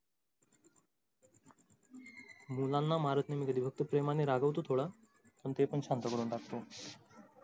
मुलांना मारत नाही कधी मी फक्त प्रेमाने रागावतो थोडं फक्त पण ते पण शांत करून टाकतो.